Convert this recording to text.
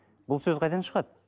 бұл сөз қайдан шығады